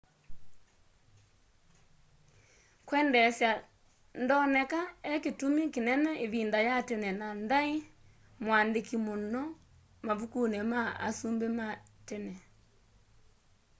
kwendeesya ndoneka ekĩtũmĩ kĩnene ĩvĩnda ya tene na ndaĩ mũandĩke mũno mavũkũnĩ ma asũmbĩ matene